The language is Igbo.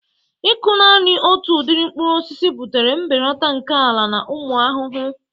Ịkụ naanị otu udiri mkpụrụ osisi butere mbelata nke ala na ụmụ ahụhụ.